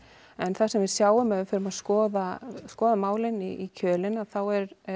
en það sem við sjáum þegar við förum að skoða skoða málin í kjölinn þá